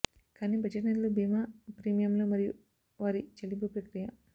కాని బడ్జెట్ నిధులు బీమా ప్రీమియంలు మరియు వారి చెల్లింపు ప్రక్రియ